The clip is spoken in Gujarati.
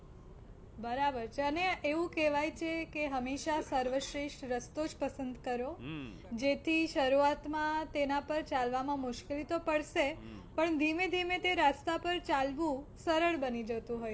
બરાબર છે અને એવું કહેવાય છે કે હંમશા સર્વશ્રેષ્ટ રસ્તો જ પસંદ કરો જેથી શરૂવાત માં તેના પર ચાલવામાં મુશ્કિલી તો પડશે, પણ ધીમે ધીમે તે રસ્તા પર ચાલવું સરળ બનું જતું હોય છે